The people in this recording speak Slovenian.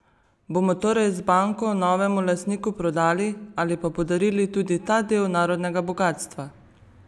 Bomo torej z banko novemu lastniku prodali ali pa podarili tudi ta del narodnega bogastva?